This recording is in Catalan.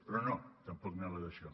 però no tampoc anava d’això